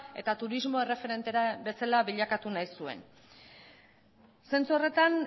eta turismo erreferente bezala bilakatu nahi zuen zentzu horretan